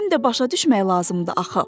Həm də başa düşmək lazımdır axı.